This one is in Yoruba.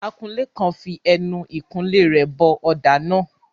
Akunlé kan fi ẹnu ìkunlé rẹ̀ bọ ọ̀dà náà.